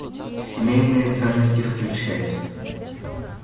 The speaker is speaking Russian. семейные ценности включай